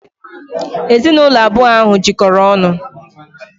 Ezinụlọ abụọ ahụ jikọrọ ọnụ.